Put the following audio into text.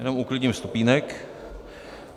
Jenom uklidím stupínek.